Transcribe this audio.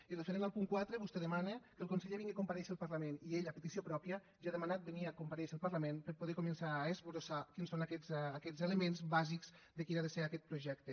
i referent al punt quatre vostè demana que el conseller vingui a comparèixer al parlament i ell a petició pròpia ja ha demanat venir a comparèixer al parlament per a poder començar a esbossar quins són aquests elements bàsics de quin ha de ser aquest projecte